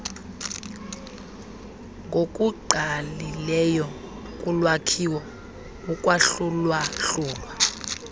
ngokungqalileyo kulwakhiwo ukwahlulwahlulwa